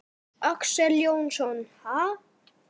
Axel Jónsson: Ha?